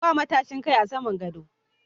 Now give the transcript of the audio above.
Ba matashin Kai a saman gadon.